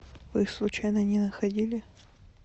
вы случайно не находили